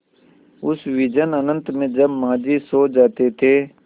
उस विजन अनंत में जब माँझी सो जाते थे